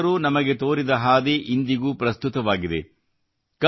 ಕಬೀರ್ ದಾಸರು ನಮಗೆ ತೋರಿದ ಹಾದಿ ಇಂದಿಗೂ ಪ್ರಸ್ತುತವಾಗಿದೆ